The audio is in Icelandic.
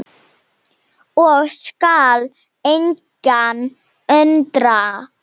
og skal engan undra.